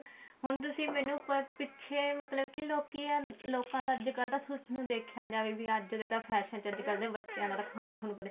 ਹੁਣ ਤੁਸੀਂ ਮੈਨੂੰ ਪਿੱਛੇ ਮਤਲਬ ਕੇ ਲੋਕਾਂ ਨੂੰ ਅੱਜਕਲ ਜੇ ਦੇਖਿਆ ਜਾਵੇ ਤਾਂ ਅੱਜਕਲ ਦੇ ਬੱਚਿਆਂ ਦਾ ਖਾਣਾ ਥੋਨੂੰ ਪਤਾ